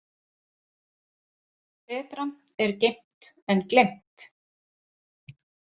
Betra er geymt en gleymt.